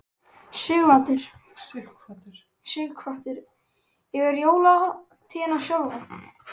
Sighvatur: Yfir jólahátíðina sjálfa?